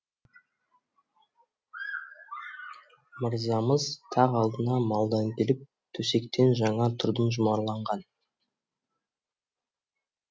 мырзамыз тақ алдында малдан келіп төсектен жаңа тұрдым жұмарланған